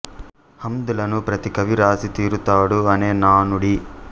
హమ్ద్ లను ప్రతి కవీ వ్రాసి తీరుతాడు అనే నానుడి